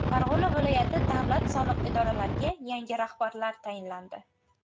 Farg‘ona viloyati davlat soliq idoralariga yangi rahbarlar tayinlandi.